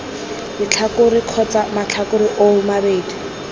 letlhakore kgotsa matlhakore oo mabedi